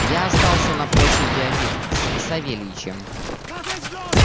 я остался на площади один с савельичем